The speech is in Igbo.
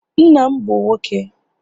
Nna m bụ nwoke